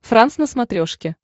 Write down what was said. франс на смотрешке